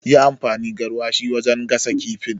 Yi amfani garwashi wajen gasa kifin